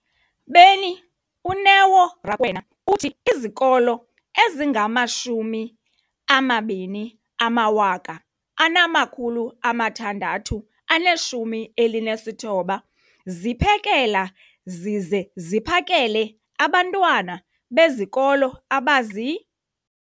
beni, uNeo Rakwena, uthi izikolo ezingama-20 619 ziphekela zize ziphakele abantwana besikolo abazi-